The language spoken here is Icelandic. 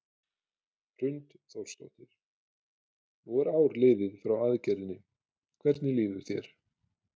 Hrund Þórsdóttir: Nú er ár liðið frá aðgerðinni, hvernig líður þér?